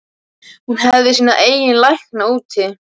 Hún hefði sína eigin lækna úti.